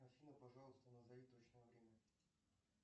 афина пожалуйста назови точное время